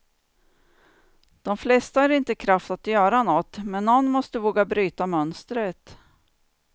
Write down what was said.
De flesta har inte kraft att göra något, men någon måste våga bryta mönstret.